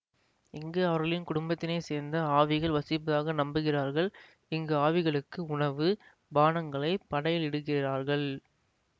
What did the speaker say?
இங்கு அவர்களின் குடும்பத்தினைச் சேர்ந்த ஆவிகள் வசிப்பதாக நம்புகிறார்கள் இங்கு ஆவிகளுக்கு உணவு பானங்களைப் படையலிடுகிறார்கள்